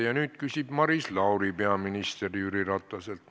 Ja nüüd küsib Maris Lauri peaminister Jüri Rataselt.